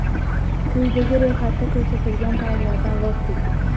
Quyidagi ro‘yxatda ko‘rsatilgan taomlardan voz keching.